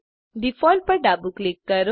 default પર ડાબું click કરો